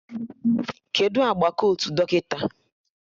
Kedụ agba kotu dọkịta?